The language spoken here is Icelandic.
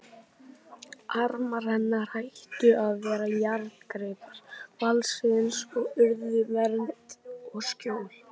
Armar hennar hættu að vera járngreipar valdsins og urðu vernd og skjól.